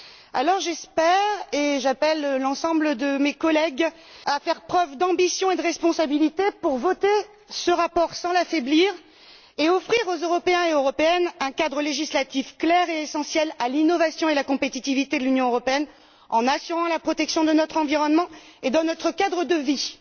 Alors, j'espère, et j'appelle l'ensemble de mes collègues à faire preuve d'ambition et de responsabilité pour voter ce rapport sans l'affaiblir et offrir aux Européens et Européennes un cadre législatif clair et essentiel à l'innovation et à la compétitivité de l'Union européenne, en assurant la protection de notre environnement et de notre cadre de vie.